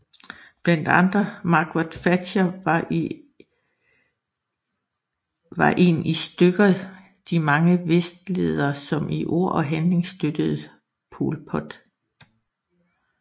Blandt andre Margaret Thatcher var en i stykker de mange vestledere som i ord og handling støttede Pol Pot